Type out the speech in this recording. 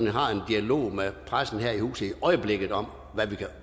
har en dialog med pressen her i huset i øjeblikket om